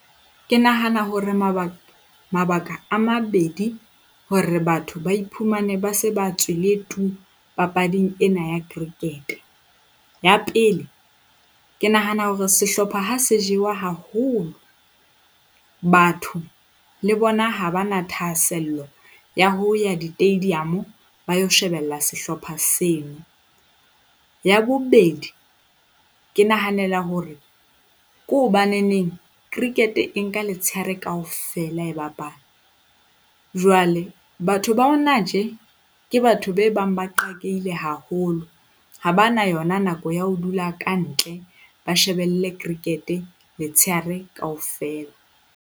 Ke nahana hore mabaka a mabedi hore batho ba iphumane ba se ba tswile tu papading ena ya cricket. Ya pele, ke nahana hore sehlopha ha se jewa haholo, batho le bona ha ba na thahasello ya ho ya di-stadium ba ilo shebella sehlopha seno. Ya bobedi, ke nahanela hore ke hobaneneng cricket e nka letshehare kaofela e bapala jwale batho ba hona tje ke batho be bang ba qakehile haholo, ha ba na yona nako ya ho dula kantle, ba shebelle cricket-e letshehare kaofela.